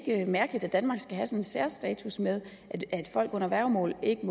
ikke mærkeligt at danmark skal have sådan en særstatus med at folk under værgemål ikke